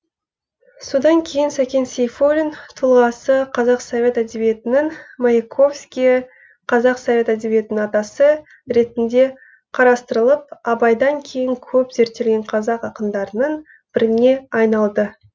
содан кейін сәкен сейфуллин тұлғасы қазақ совет әдебиетінің маяковскийі қазақ совет әдебиетінің атасы ретінде қарастырылып абайдан кейін көп зерттелген қазақ ақындарының біріне айналды